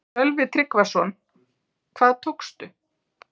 Sölvi Tryggvason: Hvað tókstu?